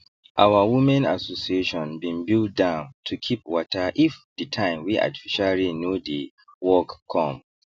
our women association been build dam to keep waterif the time wey artificial rain no dey work come